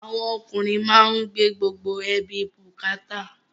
Àwọn ọkùnrin má ń gbé gbogbo ẹbí bukata